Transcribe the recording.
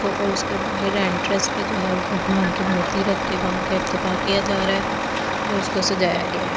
को और उसके बाहर एंट्रेंस पे जो है वो भगवान की मूर्ति रख के वहां का इफ्तेता किया जा रहा है और उसको सजाया गया--